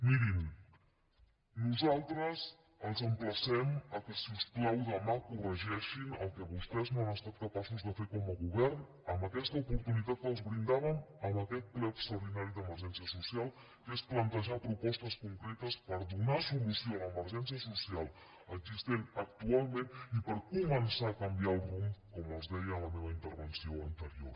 mirin nosaltres els emplacem que si us plau demà corregeixin el que vostès no han estat capaços de fer com a govern amb aquesta oportunitat que els brindàvem amb aquest ple extraordinari d’emergència social que es plantejar propostes concretes per donar solució a l’emergència social existent actualment i per començar a canviar el rumb com els deia a la meva intervenció anterior